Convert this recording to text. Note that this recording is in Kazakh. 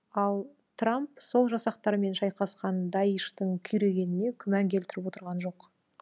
ал трамп сол жасақтармен шайқасқан даиштың күйрегеніне күмән келтіріп отырған жоқ